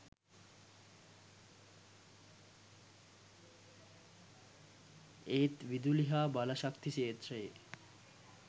ඒත් විදුලි හා බලශක්ති ක්ෂේත්‍රයේ